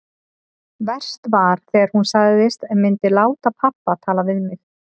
Verst var þegar hún sagðist myndu láta pabba tala við mig.